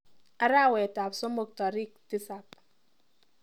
Arawetap somok tarik tisap.